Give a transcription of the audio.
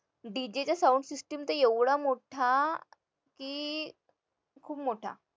DJ चा sound system तर एवढा मोठा की खूप मोठा